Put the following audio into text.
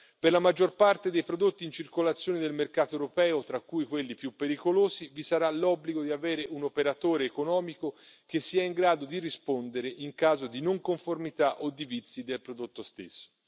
Per la maggior parte dei prodotti in circolazione del mercato europeo, tra cui quelli più pericolosi, vi sarà l'obbligo di avere un operatore economico che sia in grado di rispondere in caso di non conformità o di vizi del prodotto stesso.